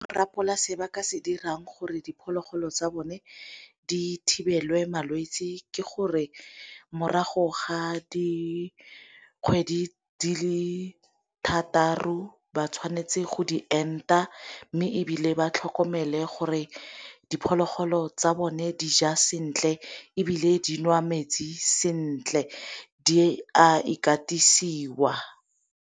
Rrapolase ba ka se dirang gore diphologolo tsa bone di thibelwe malwetsi ke gore morago ga dikgwedi di le thataro ba tshwanetse go di enta, mme ebile ba tlhokomele gore diphologolo tsa bone dija sentle ebile di nwa metsi sentle di a ikatisiwa.